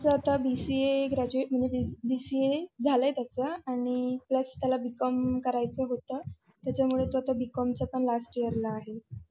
BCA graduate म्हणजे BCA झालाय त्याचा आणि plus त्याला BCOM करायचं होतं त्याच्यामुळे तू आता BCOM च्या पण last year आहे.